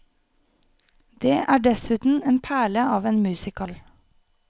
Det er dessuten en perle av en musical.